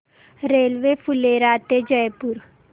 railway Phulera ते जयपूर